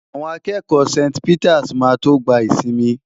Àwọn akẹ́kọ̀ọ́ St. Peters máa tó gba ìsinmi.